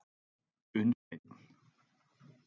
Unnsteinn